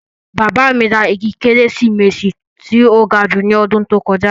Bàbá mi ra igi kérésìmesì tó ga jù ní ọdún tó kọjá